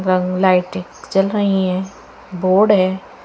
ल लाइटे जल रही हैं बोर्ड है।